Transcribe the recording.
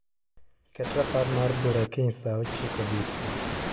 Ket rapar mar bura kiny saa ochiko odiechieng'.